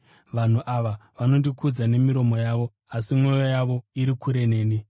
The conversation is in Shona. “ ‘Vanhu ava vanondikudza nemiromo yavo, asi mwoyo yavo iri kure neni.